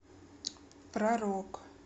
про рок